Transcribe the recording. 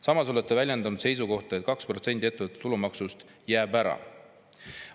Samas olete väljendanud seisukohta, et 2%‑line ettevõtte maks jääb ära.